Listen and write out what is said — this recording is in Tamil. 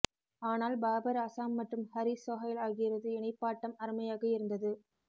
ஆனால் பாபர் அசாம் மற்றும் ஹரிஸ் சொஹைல் ஆகியோரது இணைப்பாட்டம் அருமையாக இருந்தது